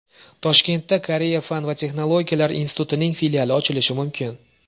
Toshkentda Koreya fan va texnologiyalar institutining filiali ochilishi mumkin .